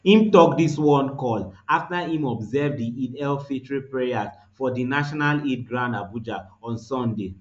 im tok dis one call afta im observe di eidelfitr prayers forn di national eid ground abuja on sunday